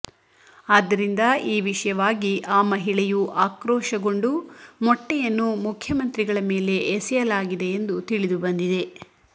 ಆದ್ದರಿಂದ ಈ ವಿಷಯವಾಗಿ ಆ ಮಹಿಳೆಯು ಆಕ್ರೋಶಗೊಂಡು ಮೊಟ್ಟೆಯನ್ನು ಮುಖ್ಯಮಂತ್ರಿಗಳ ಮೇಲೆ ಎಸೆಯಲಾಗಿದೆ ಎಂದು ತಿಳಿದುಬಂದಿದೆ